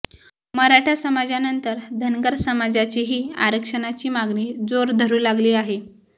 मराठा समाजानंतर धनगरसमाजाचीही आरक्षणाची मागणी जोर धरू लागली आहे